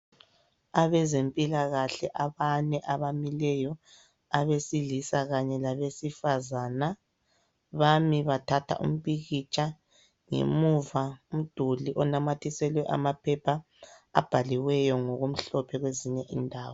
Abezempilakahle abane abamileyo abesilisa kanye labesifazana bami bathatha umpikitsha ngemuva umduli onamathiselwe amaphepha abhaliweyo ngokumhlophe kwezinye indawo.